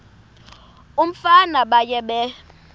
umfana baye bee